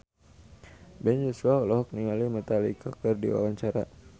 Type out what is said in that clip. Ben Joshua olohok ningali Metallica keur diwawancara